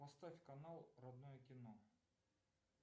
поставь канал родное кино